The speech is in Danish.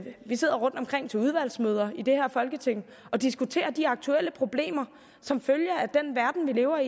vi sidder rundtomkring til udvalgsmøder i det her folketing og diskuterer de aktuelle problemer som følger af den verden vi lever